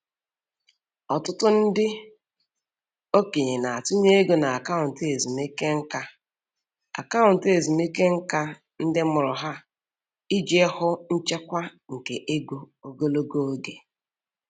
Ọtụtụ ndị okenye na-atụnye ego na akaụntụ ezumike nka akaụntụ ezumike nka ndị mụrụ ha iji hụ nchekwa nke ego ogologo oge.